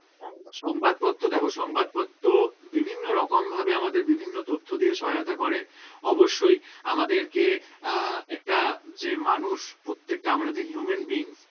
একদম সংবাদপত্র দেখো সংবাদপত্র বিভিন্নরকম ভাবে আমাদের বিভিন্ন তথ্য দিয়ে সহায়তা করে অবশ্যই আমাদেরকে আহ একটা যে মানুষ প্রত্যেকটা আমরা যে human being